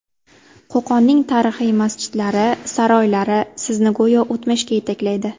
Qo‘qonning tarixiy masjidlari, saroylari sizni go‘yo o‘tmishga yetaklaydi.